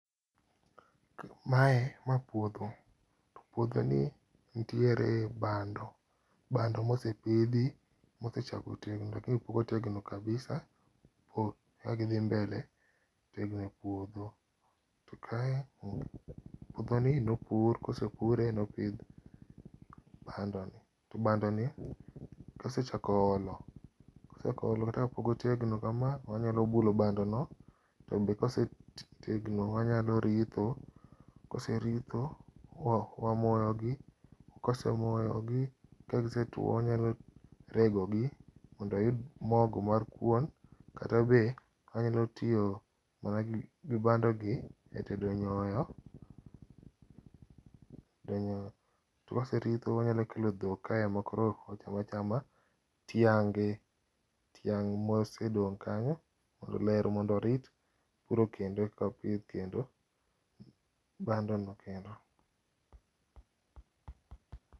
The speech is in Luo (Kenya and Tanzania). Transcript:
Mae , ma puodho, puodho ni nitiere bando ,bando mosepidhi mosechako tegno topok otegno kabisa kagidhi mbele tegno e puodho. To kae apani nopur, kosepuro nopidh bando, to bandoni osechako olo, osechako olo kata ka pok otegno kama to wanyalo bulo bando no to be ka osetegno wanyaloo ritho, ka waseritho wamoyogi, ka wasemoyogi ka gisetuo wanyalo rego gi mondo wayud mogo mar kuon kata be wanyalo tiyo gi bando gi e tedo nyoyo, tedo nyoyo. To ka waserito wanyalo kelo dhok kae makoro ocham achame tiange, tiang mosedong kanyo ler mondo orith, koro kendo eka pidh kendo bando no kendo